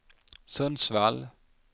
Sundsvall